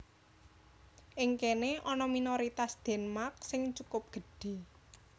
Ing kéné ana minoritas Denmark sing cukup gedhé